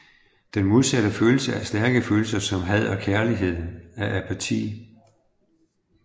Den modsatte følelse af stærke følelser som had og kærlighed er apati